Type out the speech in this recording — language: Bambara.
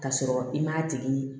K'a sɔrɔ i m'a tigi